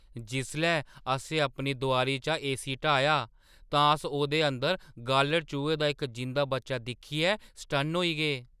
जिसलै असें अपनी दोआरी चा ए सी हटाया, तां अस ओह्दे अंदर गालढ़ चूहे दा इक जिंदा बच्चा दिक्खियै सटन्न होई गे।